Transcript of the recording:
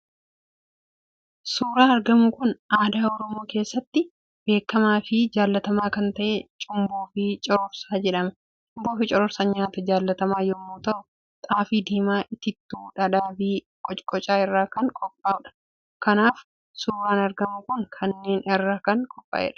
Suuraan argamu kun, aadaa oromoo keessatti beekamaafi jaallatamaa kan ta'e cumboofi cororsaa jedhama; cumboofi cororsaan nyaataa jaallatamaa yommuu ta'u, xaafii diimaa, itittuu, dhadhaafi qocqocaa irraa kan qopha'udha. Kanaaf suuran argamu kun kanneen irra kan qopha'edha.